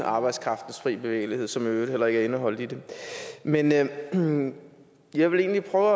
arbejdskraftens fri bevægelighed som i øvrigt heller ikke er indeholdt i det men jeg men jeg vil egentlig prøve